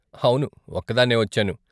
అవును, ఒక్కదాన్నే వచ్చాను.